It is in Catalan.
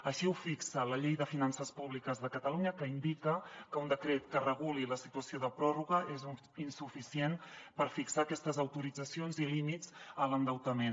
així ho fixa la llei de finances públiques de catalunya que indica que un decret que reguli la situació de pròrroga és insuficient per fixar aquestes autoritzacions i límits a l’endeutament